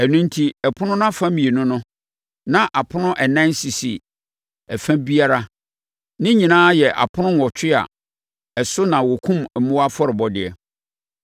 Ɛno enti ɛpono no afa mmienu no, na apono ɛnan sisi ɛfa biara; ne nyinaa yɛ apono nwɔtwe a ɛso na wɔkum mmoa afɔrebɔdeɛ.